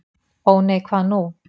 Ó nei, hvað nú?